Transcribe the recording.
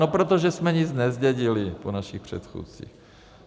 No protože jsme nic nezdědili po našich předchůdcích.